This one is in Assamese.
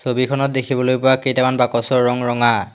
ছবিখনত দেখিবলৈ পোৱা কেইটামান বাকচৰ ৰং ৰঙা।